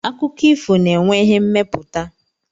Akụkọ ifo na-enwe ihe mmepụta.